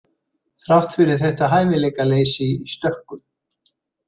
Þrátt fyrir þetta hæfileikaleysi í stökkum.